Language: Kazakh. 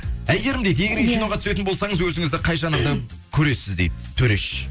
әйгерім дейді егер де киноға түсетін болсаңыз өзіңізді қай жанрда көресіз дейді төреш